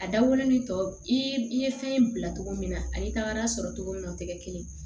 A dabɔlen tɔ i ye fɛn bila cogo min na a y'i taga sɔrɔ cogo min na o tɛ kɛ kelen ye